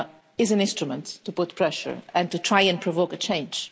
is an instrument to put pressure and to try and provoke a change.